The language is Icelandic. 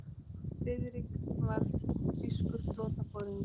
diðrik var þýskur flotaforingi